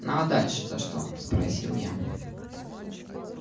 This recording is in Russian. ну а дальше-то что спросил я